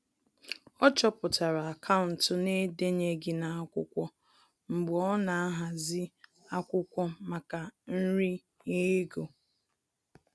Ọ chọpụtara akaụntụ na-edenyeghi n'akwụkwọ mgbe ọ na ahazi akwụkwọ maka nri ye ego